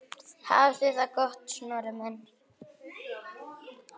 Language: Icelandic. Hafðu það gott, Snorri minn.